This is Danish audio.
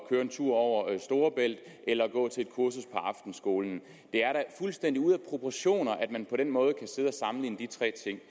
køre en tur over storebælt eller gå til et kursus på aftenskolen det er da fuldstændig ude af proportioner at man på den måde kan sammenligne de tre ting